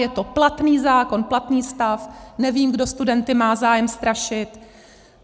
Je to platný zákon, platný stav, nevím, kdo studenty má zájem strašit.